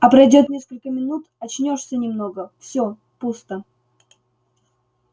а пройдёт несколько минут очнёшься немного всё пусто